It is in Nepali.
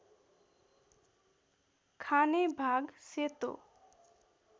खाने भाग सेतो